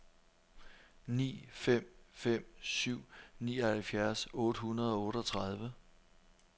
ni fem fem syv nioghalvfjerds otte hundrede og otteogtredive